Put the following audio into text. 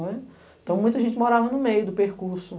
Então, muita gente morava no meio do percurso.